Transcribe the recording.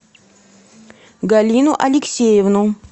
галину алексеевну